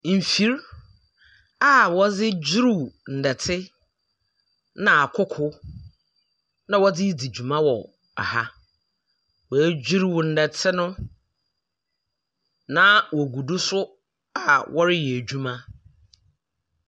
Mfiri a wɔdze dwuruw ndɛtse na akoko na wɔdze di dwuma wɔ ɛha. W'edwuruw ndɛtse no, na wogu do so a wɔreyɛ edwuma.